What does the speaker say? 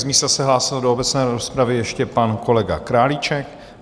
Z místa se hlásil do obecné rozpravy ještě pan kolega Králíček.